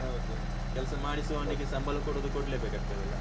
ಹೌದು ಕೆಲಸ ಮಾಡಿಸುವನಿಗೆ ಸಂಬಳ ಕೊಡುದು ಕೂಡ್ಲೆ ಬೇಕಾಗ್ತದೆ ಅಲ್ಲಾ.